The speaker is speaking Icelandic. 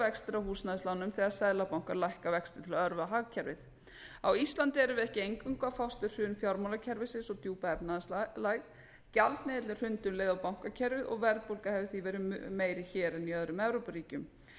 vextir af húsnæðislánum þegar seðlabankar lækka vexti til að örva hagkerfið á íslandi erum við ekki eingöngu að fást við hrun fjármálakerfisins og djúpa efnahagslægð gjaldmiðillinn hrundi um leið og bankakerfið og verðbólga hefur því verið meiri hér en í öðrum evrópuríkjum